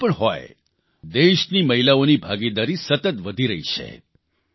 ક્ષેત્ર કોઇપણ હોય દેશની મહિલાઓની ભાગીદારી સતત વધી રહી છે